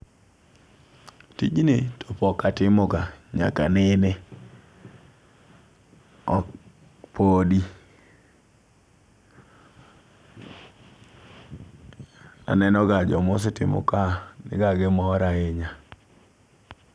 Tijni to pok atimo ga nyaka nene ok podi aneno ga jomosetimo ka niga gi mor ahinya.